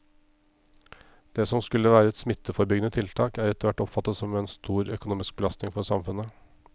Det som skulle være et smitteforebyggende tiltak er etterhvert oppfattet som en stor økonomisk belastning for samfunnet.